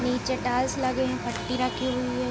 नीचे टाइल्स लगे है फटी रखी हुई है ।